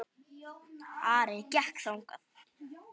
Ari gekk þangað.